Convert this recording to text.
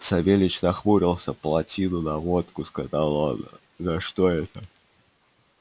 савельич нахмурился полтину на водку сказал он за что это